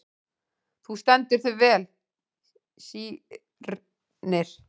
Þú stendur þig vel, Sírnir!